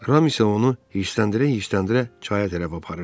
Ram isə onu hirsləndirə-hirsləndirə çaya tərəf aparırdı.